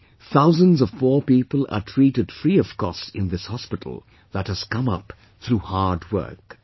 Today, thousands of poor people are treated free of cost in this hospital that has come up through hardwork